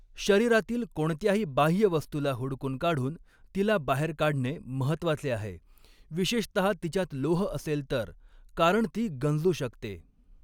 शरीरातील कोणत्याही बाह्य वस्तूला हुडकून काढून तिला बाहेर काढणे महत्वाचे आहे, विशेषतहा तिच्यात लोह असेल तर, कारण ती गंजू शकते.